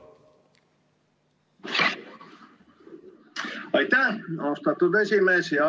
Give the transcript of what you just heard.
Aitäh, austatud esimees!